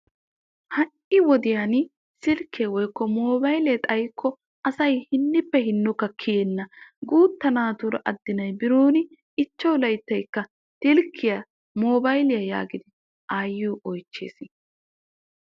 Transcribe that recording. Ha'i wodiyan silkke xayikkoa asay awakka kiyyenna. Ubba guutta naatikka silkkiya shamaa giidi aayiyo oychchees.